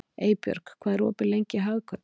Eybjörg, hvað er opið lengi í Hagkaup?